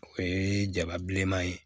O ye jaba bilenman ye